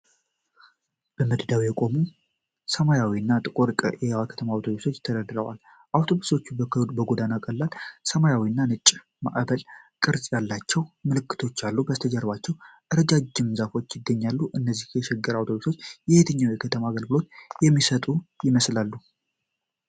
በመደዳ የቆሙ ሰማያዊና ጥቁር የከተማ አውቶቡሶች ተደርድረዋል። አውቶቡሶቹ በጎናቸው ቀላል ሰማያዊና ነጭ የማዕበል ቅርጽ ያላቸው ምልክቶች አሉ፣ ከበስተጀርባ ረጃጅም ዛፎች ይገኛሉ። እነዚህ የሸገር አውቶቡሶች የትኛው የከተማ አገልግሎት የሚሰጡ ይመስላል?